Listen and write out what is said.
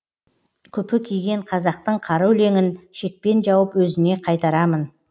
күпі киген қазақтың қара өлеңін шекпен жауып өзіне қайтарамын